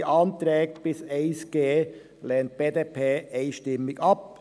Die Anträge bis zum Antrag 1g lehnt die BDP einstimmig ab.